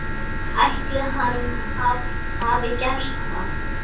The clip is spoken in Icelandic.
Ætli hann hafi gert það?